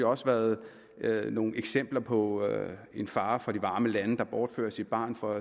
også været været nogle eksempler på en far fra de varme lande der bortfører sit barn fra